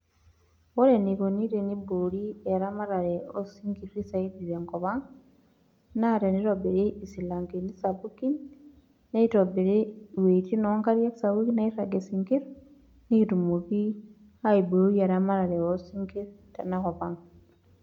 Ore eneikunu pe eibori eramatare o sinkir zaidi tenkop ang, naa teneitobiri isilankeni sapuki, neitobiri iweitin o nkariak sapuki neirag isinkir nekitumoki aiboi eramatare o sinkir tena kop ang.